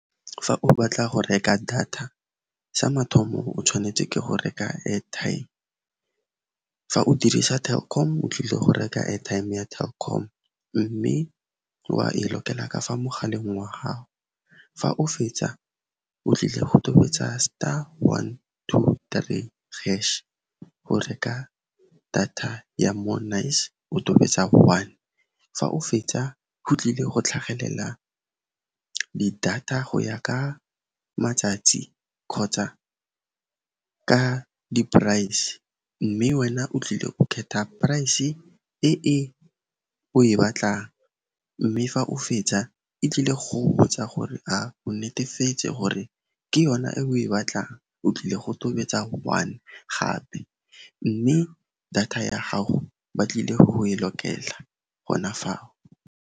Fa o batla go reka data, sa mathomo o tshwanetse ke go reka airtime. Fa o dirisa Telkom, o tlile go reka airtime ya Telkom, mme wa e lokela ka fa mogaleng wa gago. Fa o fetsa, o tlile go tobetsa star one two three hash go reka data ya More Nice, o tobetsa one. Fa o fetsa, go tlile go tlhagelela di-data go ya ka matsatsi kgotsa ka di-price, mme wena o tlile go kgetha price e e o e batlang, mme fa o fetsa e tlile go go botsa gore a o netefetse gore ke yona e o e batlang. O tlile go tobetsa one gape, mme data ya gago ba tlile go e lokela gona fao.